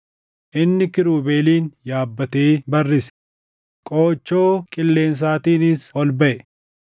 Inni kiirubeelin yaabbatee barrise; qoochoo qilleensaatiinis ol baʼe.